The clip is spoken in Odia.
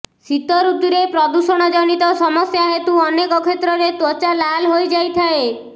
ଶୀତ ଋତୁରେ ପ୍ରଦୂଷଣ ଜନିତ ସମସ୍ୟା ହେତୁ ଅନେକ କ୍ଷେତ୍ରରେ ତ୍ୱଚା ଲାଲ୍ ହୋଇଯାଇଥାଏ